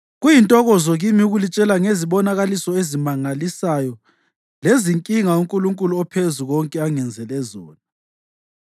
Kuyintokozo kimi ukulitshela ngezibonakaliso ezimangalisayo lezinkinga uNkulunkulu oPhezukonke angenzele zona.